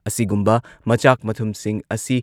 ꯑꯁꯤꯒꯨꯝꯕ ꯃꯆꯥꯛ ꯃꯊꯨꯝꯁꯤꯡ ꯑꯁꯤ